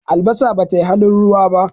albasa ba tai halin ruwa ba